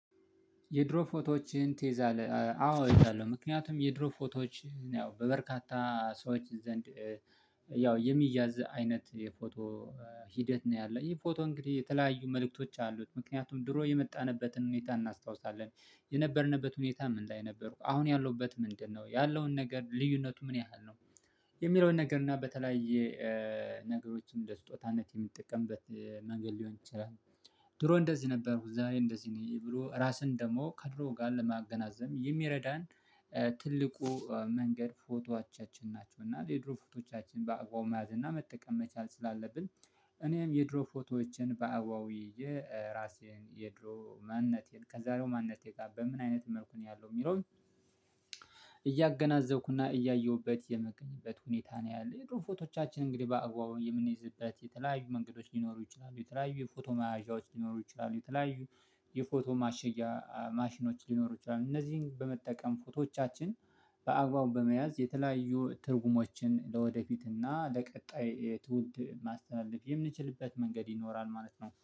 የድሮ ፎቶዎችን ትይዛለህ አዎ እይዛለሁ። ምክንያቱም የድሮ ፎቶዎችን ያው በበርካታ ሰዎች ዘንድ ያው የሚያዝ አይነት የፎቶ ሂደት ነው ያለ ይህ ፎቶ እንግዲህ የተለያዩ መልእክቶች አሉት ምክንያቱም ድሮ የመጣንበትን ሁኔታ እናስታውሳለን የነበርንበት ምን ላይ ነበርኩ አሁን ያለሁበት ምንድነው ያለውን ነገር ልዩነቱ ምን ያህል ነው የሚለውን ነገር እና በተለያየ ነገሮችን እንደ ስጦታነት የምንጠቀምበት መንገድ ሊሆን ይችላል። ድሮ እንደዚህ ነበርኩ ዛሬ እንደዚህ ነኝ ብሎ ራስን ደግሞ ከድሮ ጋር ለማገናዘብ የሚረዳን ትልቁ መንገድ ፎቶዎቻችን ናቸው እና የድሮ ፎቶዎቻችን በአግባቡ መያዝ እና መጠቀም መቻል ስላለብን። እኔም የድሮ ፎቶዎችን በአግባባዊ ይዤ ራሴን የድሮ ማንነቴን ከዛሬው ማንነቴ ጋር በምን አይነት መልኩ ነው ያለው የሚለውኝ እያየሁበት የምገኝበት ሁኔታ ነው። ያለ የድሮ ፎቶዎቻችን እንግዲህ በአግባቡ የምንይዝበት የተለያዩ መንገዶች ሊኖሩ ይችላሉ የተለያዩ የፎቶ ማያዣዎች ሊኖሩ ይችላሉ የተለያዩ የፎቶ ማሸጊያ ማሽኖች ሊኖሩ ይችላሉ እነዚህን በመጠቀም ፎቶዎቻችን በአግባቡ በመያዝ የተለያዩ ትርጉሞችን ለወደፊት እና ለቀጣይ ትውልድ ማስተላለፍ የምንችልበት መንገድ ይኖራል ማለት ነው